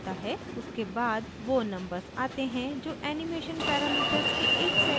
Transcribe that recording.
उसके बाद वो numbers आते हैं जो animation parameters के एक set को परिमाणित करते हैं